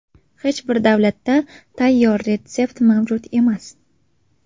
Hech bir davlatda tayyor retsept mavjud emas.